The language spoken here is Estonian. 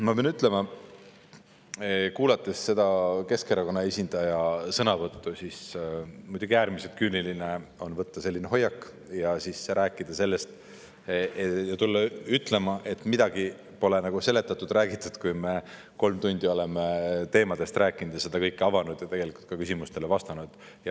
Ma pean ütlema, kuulanud seda Keskerakonna esindaja sõnavõttu, et muidugi äärmiselt küüniline on võtta selline hoiak ja rääkida sellest ja tulla ütlema, et midagi pole nagu seletatud, räägitud, kui me kolm tundi oleme nendest teemadest rääkinud ja seda kõike avanud ja tegelikult ka küsimustele vastanud.